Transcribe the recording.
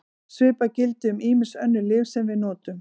Svipað gildir um ýmis önnur lyf sem við notum.